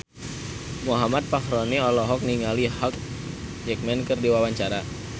Muhammad Fachroni olohok ningali Hugh Jackman keur diwawancara